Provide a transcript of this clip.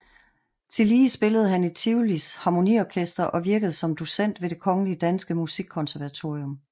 Tillige spillede han i Tivolis Harmoniorkester og virkede som docent ved Det Kongelige Danske Musikkonservatorium